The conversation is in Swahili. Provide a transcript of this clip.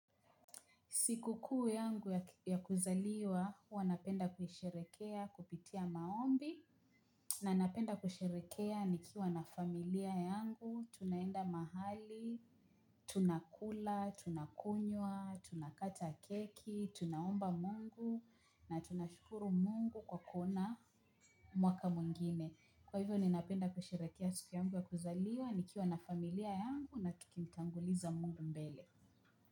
Siku kuu yangu ya kuzaliwa, huwa napenda kusherehekea kupitia maombi na napenda kusherehekea nikiwa na familia yangu, tunaenda mahali, tunakula, tunakunywa, tunakata keki, tunaomba mungu na tunashukuru mungu kwa kuona mwaka mwingine. Kwa hivyo ninapenda kusherehekea siku yangu ya kuzaliwa, nikiwa na familia yangu na tukitanguliza mungu mbele.